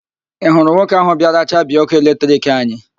Ị hụrụ nwoke ahụ bịara chabie ọ́kụ́ eletrik anyị?